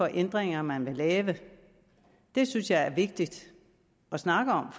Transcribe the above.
ændringer man vil lave det synes jeg er vigtigt at snakke om